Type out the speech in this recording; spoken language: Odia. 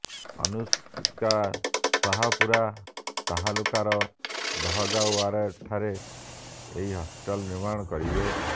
ଅନୁଷ୍କା ଶାହପୁରା ତାଲୁକାର ଦହଗାଓ୍ବଠାରେ ଏହି ହସ୍ପିଟାଲ୍ ନିର୍ମାଣ କରିବେ